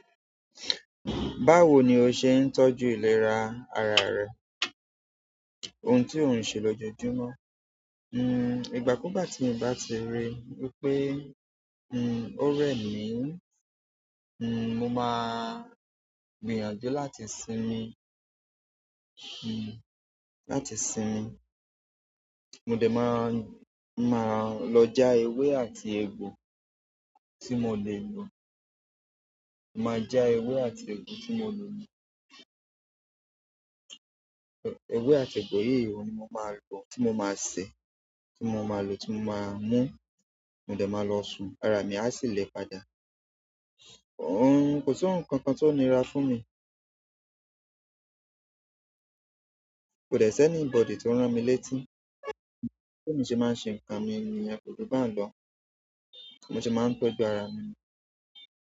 Báwo ni o n se tooju ileera re- ohun ti o n se l ojoojúmọ́ hmm, ìgbà kúù gbá ti mo bá ti rí wípé, hmm, ó rẹ̀ mí, hmm, mo máa gbìyànjú láti sinmi, hmm, láti sinmi. Mo dẹ̀ máa, máa lọ já ewé àti egbò tí mo lè lò. Máa já ewé àti egbò tí mo lè lò. Ewé àti egbò yíi oun ní mo máa lò, tí mo máa sè, tí mo máa lò tí mo máa mú. Mo dẹ̀ máa lọ sùn, ara mi á sì lè padà. Ohun kò sí ohun kankan tó nira fún mi. Ko de si enibodi ti o ran mi le ti. Bí emi ṣe máa ń ṣe nǹkan mi níyen ko ju bahuń lọ, mo se máa ń tọ́jú ara mi.